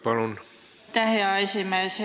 Aitäh, hea esimees!